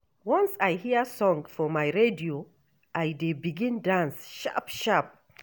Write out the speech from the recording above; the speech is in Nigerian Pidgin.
Once I hear song for my radio, I dey begin dance sharp-sharp.